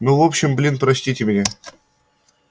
ну в общем блин простите меня